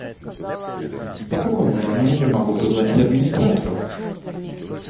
по какому номеру я могу позвонить администратору